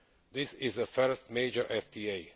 This is the first major FTA.